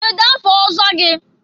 kedụ afa ọzọ gị?